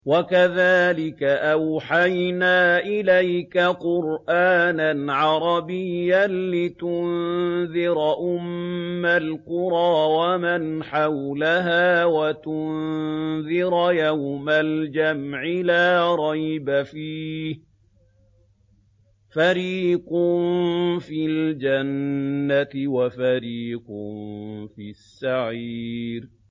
وَكَذَٰلِكَ أَوْحَيْنَا إِلَيْكَ قُرْآنًا عَرَبِيًّا لِّتُنذِرَ أُمَّ الْقُرَىٰ وَمَنْ حَوْلَهَا وَتُنذِرَ يَوْمَ الْجَمْعِ لَا رَيْبَ فِيهِ ۚ فَرِيقٌ فِي الْجَنَّةِ وَفَرِيقٌ فِي السَّعِيرِ